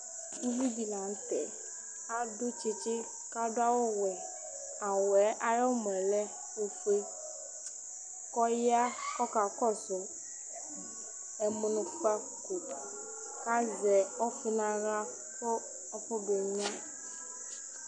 Ʋvidí di la ntɛ Adu tsitsi kʋ adu awu wɛ Awu wɛ yɛ ayʋ ɛmɔ lɛ ɔfʋe kʋ ɔya kʋ ɔkakɔsu ɛmʋnʋkpako kʋ azɛ ɔfi nʋ aɣla kʋ afɔ be nyʋa